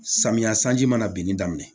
Samiya sanji mana binni daminɛ